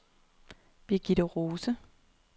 Birgitte Rose